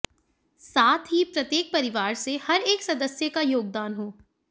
साथ ही प्रत्येक परिवार से हरेक सदस्य का योगदान हो